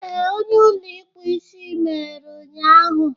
Ee, ụlọ ịkpụ isi meghere ụnyaahụ.